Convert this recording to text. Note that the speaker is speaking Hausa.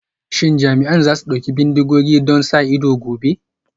Shin jami'an za su ɗauki bindigogi don sa ido gobe?